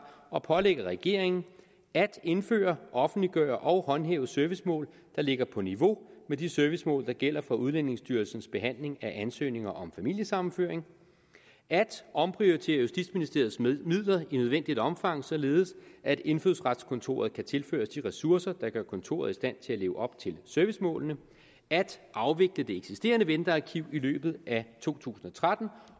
og pålægger regeringen at indføre offentliggøre og håndhæve servicemål der ligger på niveau med de servicemål der gælder for udlændingestyrelsens behandling af ansøgninger om familiesammenføring at omprioritere justitsministeriets midler i nødvendigt omfang således at indfødsretskontoret kan tilføres de ressourcer der gør kontoret i stand til at leve op til servicemålene at afvikle det eksisterende ventearkiv i løbet af to tusind og tretten